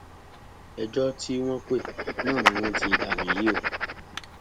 ẹjọ tí wọn pè náání wọn ti danú yìí o